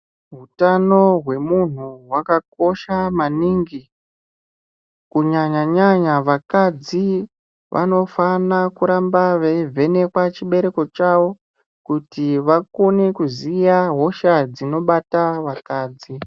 Hutano hwe munhu hwaka kosha maningi ku nyanya nyanya vakadzi vanofana kuramba veyi vhenekwa chibereko chavo kuti vakone kuziya hosha dzino bata vakadzi.